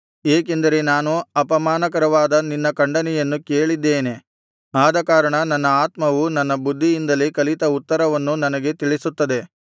ಏಕೆಂದರೆ ನಾನು ಅಪಮಾನಕರವಾದ ನಿನ್ನ ಖಂಡನೆಯನ್ನು ಕೇಳಿದ್ದೇನೆ ಆದಕಾರಣ ನನ್ನ ಆತ್ಮವು ನನ್ನ ಬುದ್ಧಿಯಿಂದಲೇ ಕಲಿತ ಉತ್ತರವನ್ನು ನನಗೆ ತಿಳಿಸುತ್ತದೆ